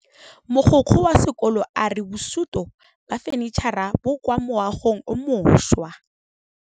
Mogokgo wa sekolo a re bosutô ba fanitšhara bo kwa moagong o mošwa.